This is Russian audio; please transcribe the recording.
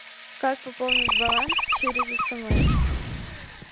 как пополнить баланс через смс